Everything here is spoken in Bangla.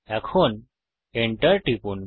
এখন Enter টিপুন